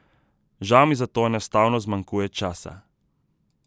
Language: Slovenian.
Žal mi za to enostavno zmanjkuje časa.